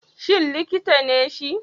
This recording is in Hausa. Shin likita ne shi?